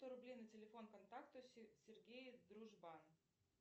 сто рублей на телефон контакту сергей дружбан